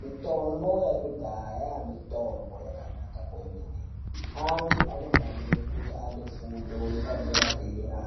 Mitombo yakudhaya mitombo yakanaka kwemene. Antu anofanire kunge ane fundo yepadera-dera